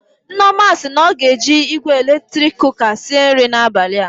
Nneoma si na ọ ga-eji igwe eletrik kụka sịe nri n'abalị a.